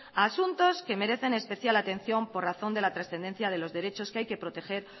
a asuntos que merecen especial atención por razón de la trascendencia de los derechos que hay que proteger